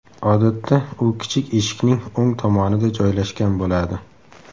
Odatda u kichik eshikning o‘ng tomonida joylashgan bo‘ladi.